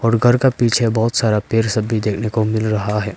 और घर का पीछे बहोत सारा पेड़ सब भी देखने को मिल रहा है।